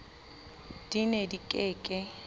di ne di ke ke